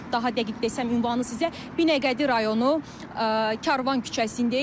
Daha dəqiq desəm ünvanı sizə Binəqədi rayonu Karvan küçəsindəyik.